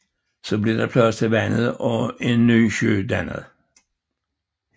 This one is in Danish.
Så blev der plads til vandet og en nye sø dannet